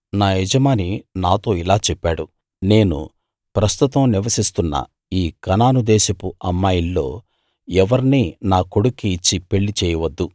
నా యజమాని నాతో ఇలా చెప్పాడు నేను ప్రస్తుతం నివసిస్తున్న ఈ కనాను దేశపు అమ్మాయిల్లో ఎవర్నీ నా కొడుక్కి ఇచ్చి పెళ్ళి చేయవద్దు